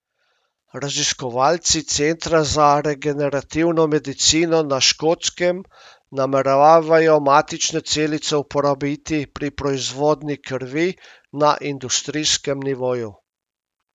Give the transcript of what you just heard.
Raziskovalci Centra za regenerativno medicino na Škotskem nameravajo matične celice uporabiti pri proizvodnji krvi na industrijskem nivoju.